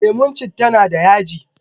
lemun citta na da yaji